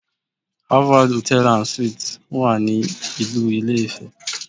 Harvard Hotel and suite wà ní ìlú ilé-ifẹ̀